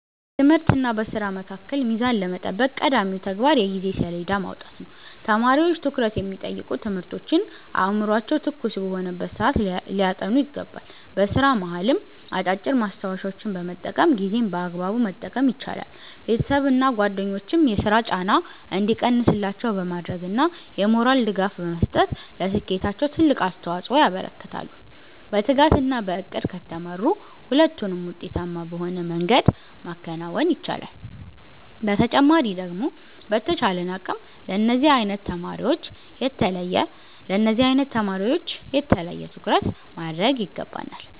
በትምህርትና በሥራ መካከል ሚዛን ለመጠበቅ ቀዳሚው ተግባር የጊዜ ሰሌዳ ማውጣት ነው። ተማሪዎች ትኩረት የሚጠይቁ ትምህርቶችን አእምሯቸው ትኩስ በሆነበት ሰዓት ሊያጠኑ ይገባል። በሥራ መሃልም አጫጭር ማስታወሻዎችን በመጠቀም ጊዜን በአግባቡ መጠቀም ይቻላል። ቤተሰብና ጓደኞችም የሥራ ጫና እንዲቀንስላቸው በማድረግና የሞራል ድጋፍ በመስጠት ለስኬታቸው ትልቅ አስተዋፅኦ ያበረክታሉ። በትጋትና በዕቅድ ከተመሩ ሁለቱንም ውጤታማ በሆነ መንገድ ማከናወን ይቻላል። በተጨማሪ ደግሞ በተቻለን አቅም ለነዚህ አይነት ተማሪወች የተለየ ትኩረት ማድረግ ይገባናል።